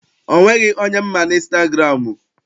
O nweghị onye m ma n'ịnstagụramụ.